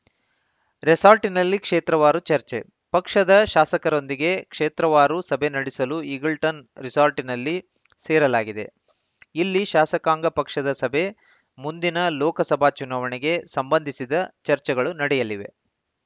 ರೆಸಾರ್ಟಿನಲ್ಲಿ ಕ್ಷೇತ್ರವಾರು ಚರ್ಚೆ ಪಕ್ಷದ ಶಾಸಕರೊಂದಿಗೆ ಕ್ಷೇತ್ರವಾರು ಸಭೆ ನಡೆಸಲು ಈಗಲ್ಟನ್‌ ರೆಸಾರ್ಟಿನಲ್ಲಿ ಸೇರಲಾಗಿದೆ ಇಲ್ಲಿ ಶಾಸಕಾಂಗ ಪಕ್ಷದ ಸಭೆ ಮುಂದಿನ ಲೋಕಸಭಾ ಚುನಾವಣೆಗೆ ಸಂಬಂಧಿಸಿದ ಚರ್ಚೆಗಳು ನಡೆಯಲಿವೆ